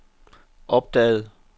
opdagede